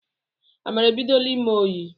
Amara ebidola ime oyi